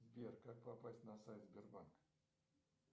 сбер как попасть на сайт сбербанка